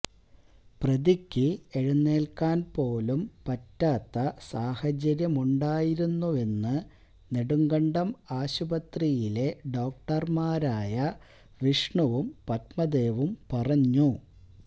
പ്രതിക്ക് എഴുന്നേൽക്കാൻ പോലും പറ്റാത്ത സാഹചര്യമുണ്ടായിരുന്നുവെന്ന് നെടുങ്കണ്ടം ആശുപത്രിയിലെ ഡോക്ടർമാരായ വിഷ്ണുവും പത്മദേവും പറഞ്ഞു